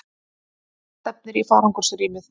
Það stefnir í farangursrýmið.